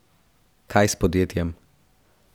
Kaj s podjetjem?